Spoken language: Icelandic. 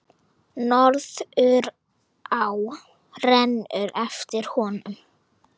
Norðurá rennur eftir honum.